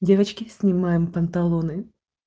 девочки снимаем панталоны